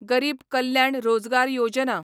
गरीब कल्याण रोजगार योजना